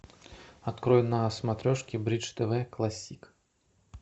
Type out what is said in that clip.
открой на смотрешке бридж тв классик